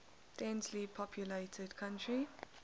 densely populated country